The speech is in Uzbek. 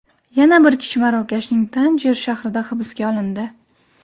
Yana bir kishi Marokashning Tanjer shahrida hibsga olindi.